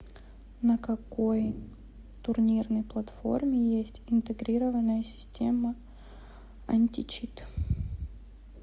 на какой турнирной платформе есть интегрированная система античит